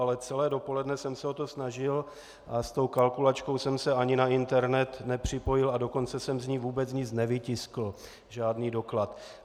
Ale celé dopoledne jsem se o to snažil a s tou kalkulačkou jsem se ani na internet nepřipojil, a dokonce jsem z ní vůbec nic nevytiskl, žádný doklad.